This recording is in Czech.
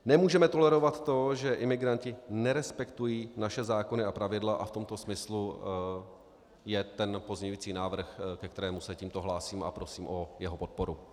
Nemůžeme tolerovat to, že imigranti nerespektují naše zákony a pravidla a v tomto smyslu je ten pozměňující návrh, ke kterému se tímto hlásím, a prosím o jeho podporu.